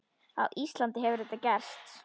Á Íslandi hefur þetta gerst.